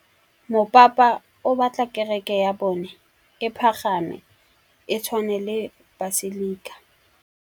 Mopapa o batla kereke ya bone e pagame, e tshwane le paselika.